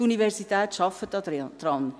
Die Universität arbeitet auch daran.